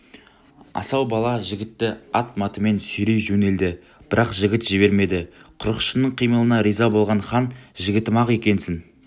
асау бала жігітті атматымен сүйрей жөнелді бірақ жігіт жібермеді құрықшының қимылына риза болған хан жігітім-ақ екенсің